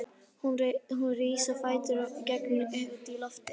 Hún rís á fætur og gengur út á gólfið.